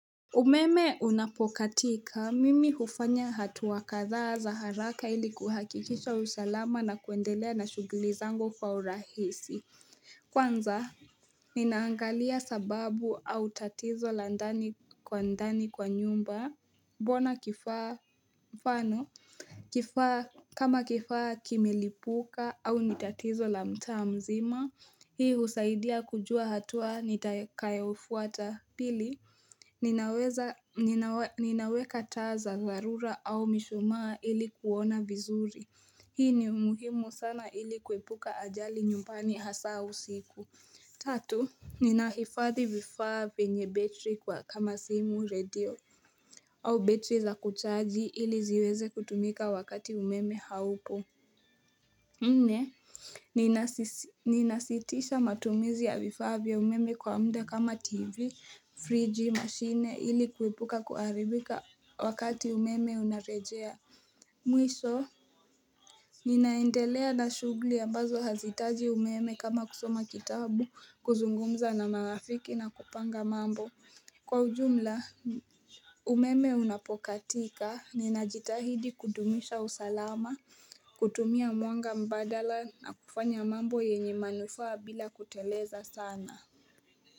Umeme unapokatika mimi hufanya hatua kadhaa za haraka ili kuhakikisha usalama na kuendelea na shughuli zangu kwa urahisi Kwanza ninaangalia sababu au tatizo la ndani kwa ndani kwa nyumba mbona kifaa mfano kifaa kama kifaa kimelipuka au nitatizo la mtaa mzima Hii husaidia kujua hatua nitakayofuata pili ninaweza Ninaweka taa za tharura au mishumaa ili kuona vizuri Hii ni muhimu sana ili kuepuka ajali nyumbani hasa usiku Tatu, ninaifadhi vifaa vyenye battery kwa kama simu radio au battery za kuchaji ili ziweze kutumika wakati umeme haupo nne ninasitisha matumizi ya vifaa vya umeme kwa muda kama tv, friji, mashine ili kuepuka kuharibika wakati umeme unarejea Mwiso ninaendelea na shugli ambazo hazihitaji umeme kama kusoma kitabu kuzungumza na marafiki na kupanga mambo Kwa ujumla umeme unapokatika ninajitahidi kudumisha usalama kutumia mwanga mbadala na kufanya mambo yenye manufaa bila kuteleza sana.